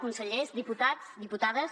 consellers diputats diputades